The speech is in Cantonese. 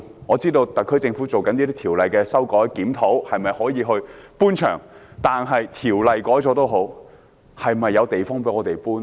我知道特區政府正就修改有關條例進行檢討，看看可否搬場，但即使條例作出修改，是否有地方讓養雞場搬遷呢？